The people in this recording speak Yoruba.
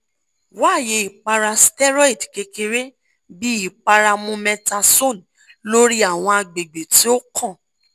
waye ipara steroid kekere bi ipara mometasone lori awọn agbegbe ti o kan